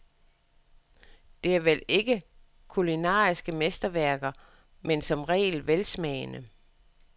Det er vel ikke kulinariske mesterværker, men som regel velsmagende.